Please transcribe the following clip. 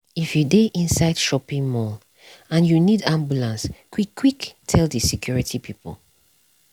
if you dey inside shopping mall and you need ambulance quick quick tell the security people.